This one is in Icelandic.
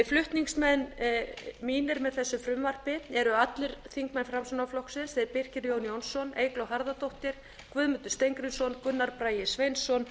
flutningsmenn mínir með þessu frumvarpi eru allir þingmenn framsóknarflokksins þeir birkir jón jónsson eygló harðardóttir guðmundur steingrímsson gunnar bragi sveinsson